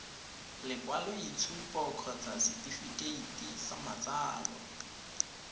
lekwaloitshupo kgotsa setefikeiti sa matsalo